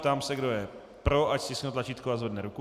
Ptám se, kdo je pro, ať stiskne tlačítko a zvedne ruku.